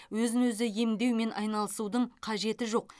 өзін өзі емдеумен айналысудың қажеті жоқ